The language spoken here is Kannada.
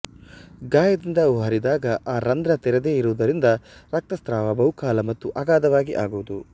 ಗಾಯದಿಂದ ಅವು ಹರಿದಾಗ ಆ ರಂಧ್ರ ತೆರೆದೇ ಇರುವುದರಿಂದ ರಕ್ತಸ್ರಾವ ಬಹುಕಾಲ ಮತ್ತು ಅಗಾಧವಾಗಿ ಆಗುವುದು